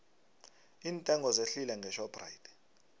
iintengo zehlile ngeshoprite